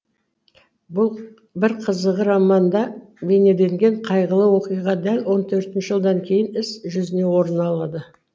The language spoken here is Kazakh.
бір қызығы романда бейнеленген қайғылы оқиға дәл он төрт жылдан кейін іс жүзінде орын алады